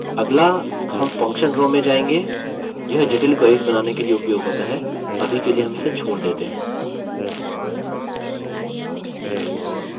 अगला हम function row में जाएँगे